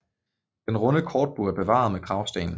Den runde korbue er bevaret med kragsten